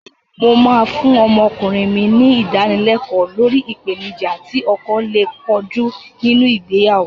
Mó máa fún ọmọkùnrin mi ní Ìdánilẹ́kọ̀ọ́ lórí ìpèníjà tí ọkọ lè kojú nínú ìgbéyàwó